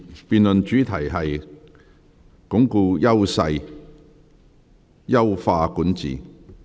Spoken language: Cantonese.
辯論主題是"鞏固優勢、優化管治"。